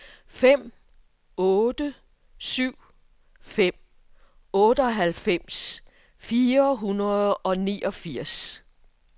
fem otte syv fem otteoghalvfems fire hundrede og niogfirs